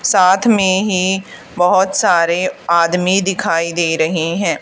साथ में ही बहोत सारे आदमी दिखाई दे रहे हैं।